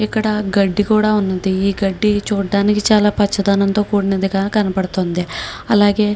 ఇక్కడ గడ్డి కూడా ఉంది ఈ గడ్డి చూడ్డానికి చాల పచ్చదనా గ కూడినట్టుగా కనపడుతోంది అలాగే--